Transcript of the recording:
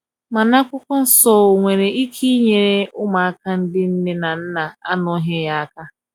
mana akwụkwo nsọ o nwere ike nyere ụmụaka ndi nne na nna anọghi ya aka